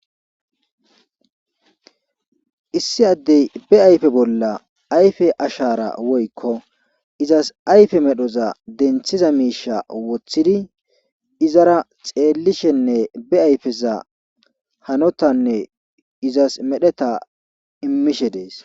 Issi addey be ayfe bolla ayfe ashaara woykko izas ayfe medhoza denthiza miisha wothidi izara xeellishenne be ayfeza hanotanne izas medheta immishe dees.